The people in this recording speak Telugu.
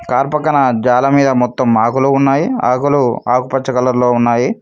కార్ పక్కన జాల మీద మొత్తం ఆకులు ఉన్నాయి ఆకులు ఆకుపచ్చ కలర్ లో ఉన్నాయి.